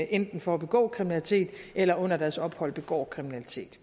enten for at begå kriminalitet eller under deres ophold begår kriminalitet